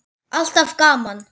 Alltaf gaman.